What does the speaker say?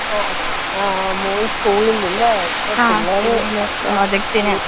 ആ *നോട്ട്‌ ക്ലിയർ* മോന് സ്കൂളിന്ലെ ഇപ്പോ പിള്ളേര് *നോട്ട്‌ ക്ലിയർ*.